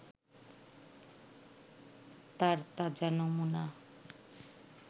তার তাজা নমুনা